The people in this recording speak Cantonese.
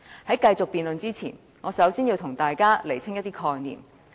在繼續辯論前，我首先要為大家釐清一些概念。